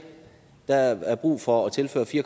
der er brug for at tilføre fire